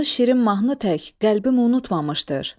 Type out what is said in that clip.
Onu şirin mahnı tək qəlbim unutmamışdır.